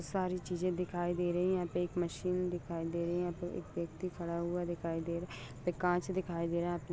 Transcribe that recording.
सारी चीजे दिखाई दे रही है यहा पे एक मशीन दिखाई दे रही है यहा पे एक व्यक्ति खड़ा हुआ दिखाई दे रहा है काच दिखाई दे रहा है।